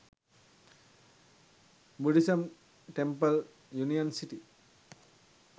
buddhism temple union city